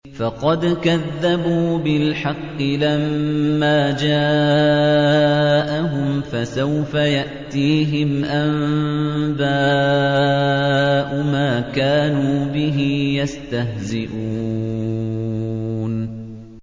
فَقَدْ كَذَّبُوا بِالْحَقِّ لَمَّا جَاءَهُمْ ۖ فَسَوْفَ يَأْتِيهِمْ أَنبَاءُ مَا كَانُوا بِهِ يَسْتَهْزِئُونَ